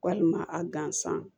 Walima a gansan